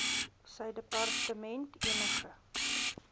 sy departement enige